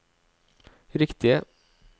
riktige